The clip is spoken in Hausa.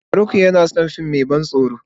Farauk yana son fim mai ban tsoro.